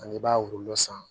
Ani i b'a wolo san